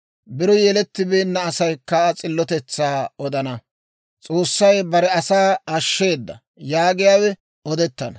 Biro yelettibeenna asaykka Aa s'illotetsaa odana. «S'oossay bare asaa ashsheedda» yaagiyaawe odettana.